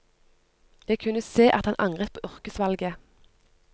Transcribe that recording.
Jeg kunne se at han angret på yrkesvalget.